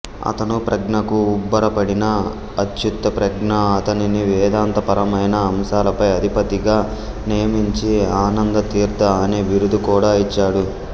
అతను ప్రజ్ఞకు అబ్బురపడిన అచ్యుతప్రజ్ఞ అతనిని వేదాంత పరమైన అంశాలపై అధిపతిగా నియమించి ఆనందతీర్థ అనే బిరుదు కూడా ఇచ్చాడు